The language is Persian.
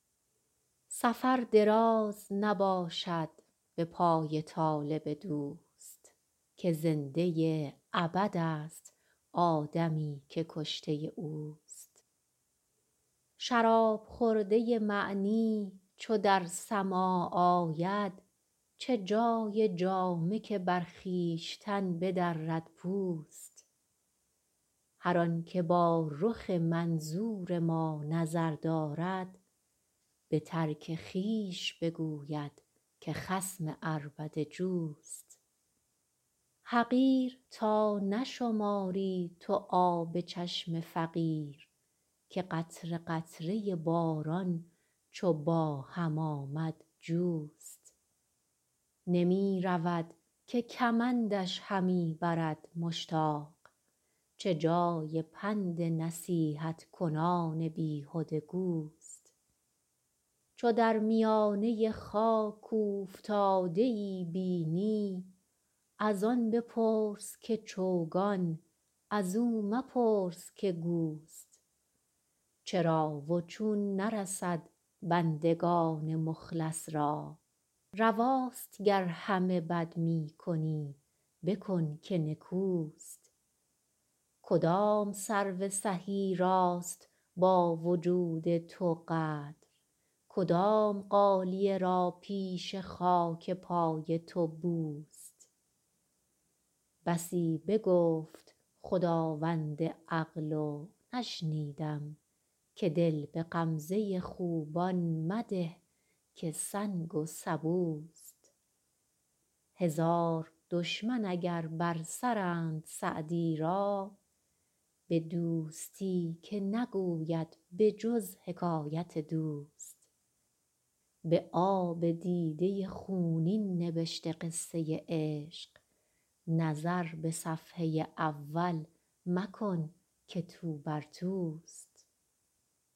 سفر دراز نباشد به پای طالب دوست که زنده ابدست آدمی که کشته اوست شراب خورده معنی چو در سماع آید چه جای جامه که بر خویشتن بدرد پوست هر آن که با رخ منظور ما نظر دارد به ترک خویش بگوید که خصم عربده جوست حقیر تا نشماری تو آب چشم فقیر که قطره قطره باران چو با هم آمد جوست نمی رود که کمندش همی برد مشتاق چه جای پند نصیحت کنان بیهده گوست چو در میانه خاک اوفتاده ای بینی از آن بپرس که چوگان از او مپرس که گوست چرا و چون نرسد بندگان مخلص را رواست گر همه بد می کنی بکن که نکوست کدام سرو سهی راست با وجود تو قدر کدام غالیه را پیش خاک پای تو بوست بسی بگفت خداوند عقل و نشنیدم که دل به غمزه خوبان مده که سنگ و سبوست هزار دشمن اگر بر سرند سعدی را به دوستی که نگوید به جز حکایت دوست به آب دیده خونین نبشته قصه عشق نظر به صفحه اول مکن که توبر توست